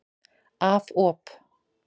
Af op.